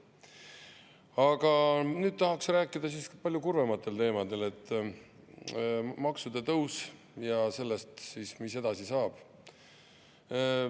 Aga nüüd tahaksin rääkida palju kurvematel teemadel, näiteks maksude tõus, ja sellest siis, mis edasi saab.